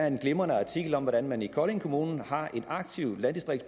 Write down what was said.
en glimrende artikel om hvordan man i kolding kommune har en aktiv